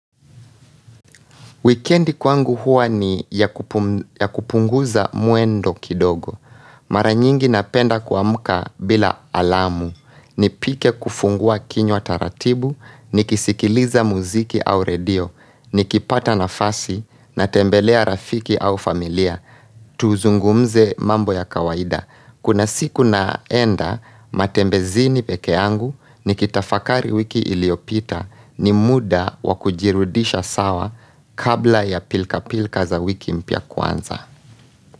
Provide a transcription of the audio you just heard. Weekendi kwangu huwa ni ya kupunguza mwendo kidogo. Mara nyingi napenda kuamuka bila alamu. Nipike kufungua kinywa taratibu, nikisikiliza muziki au radio, nikipata nafasi, natembelea rafiki au familia, tuzungumze mambo ya kawaida. Kuna siku naenda matembezini pekee yangu nikitafakari wiki iliopita ni muda wa kujirudisha sawa kabla ya pilka pilka za wiki mpya kwanza.